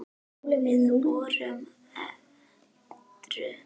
Við vorum edrú.